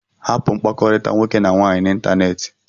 Hapụ mkpakọrịta nwoke na nwaanyị n'ịntanetị!